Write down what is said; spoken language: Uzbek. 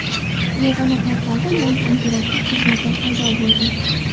Yagona portalda yangi interaktiv xizmatlar paydo bo‘ldi.